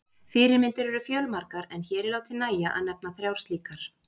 Fyrirmyndir eru fjölmargar en hér er látið nægja að nefna þrjár slíkar.